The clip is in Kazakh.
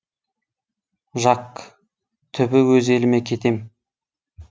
жак түбі өз еліме кетем